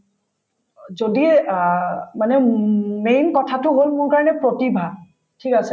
অ, যদি এই অ মানে ম্মম্ম main কথাটো হল মোৰ কাৰণে প্ৰতিভা ঠিক আছে